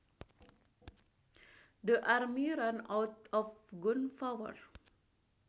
The army ran out of gunpower